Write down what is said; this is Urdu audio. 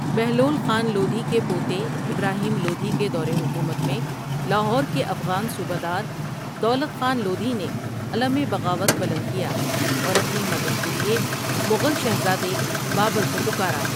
بہلول خان لودھی کے پوتے ابراہیم لودھی کے دورِ حکومت میں لاہور کے افغان صوبہ دار دولت خان لودھی نے علمِ بغاوت بلند کیا اور اپنی مدد کے لیے مغل شہزادے بابر کو پکارا ۔